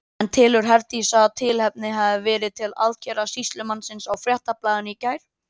En telur Herdís að tilefni hafi verið til aðgerða sýslumannsins á Fréttablaðinu í gær?